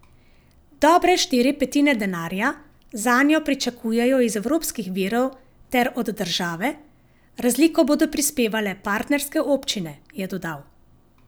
Dobre štiri petine denarja zanjo pričakujejo iz evropskih virov ter od države, razliko bodo prispevale partnerske občine, je dodal.